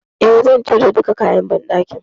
E, zan cire duka kayan banɗakin.